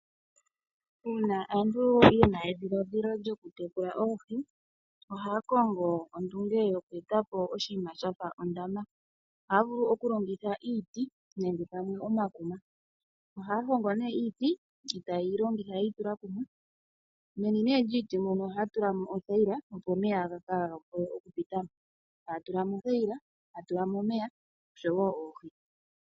Uuna omuntu ena edhiladhilo lyokutekula oohi. Ohaya kongo ondunge yoku etapo oshinima shafa ondama. Ohaya vulu okulongitha iiti nenge pamwe omakuma . Ohaya hongo nee iiti, iiti taye yi longitha yi itula kumwe. Meni lyiiti ohaya tula mo othayila opo omeya kaya pitamo, taya tula mo othayaila , taya tulamo omeya, oshowo oohi.